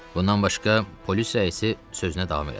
Bundan başqa, polis rəisi sözünə davam elədi.